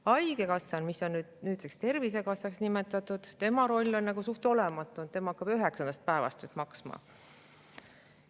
Haigekassal, mis on nüüdseks Tervisekassaks nimetatud, on nüüd üsna olematu roll, tema hakkab üheksandast päevast maksma.